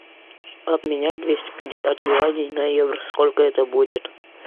обменять двести пятьдесят юаней на евро сколько это будет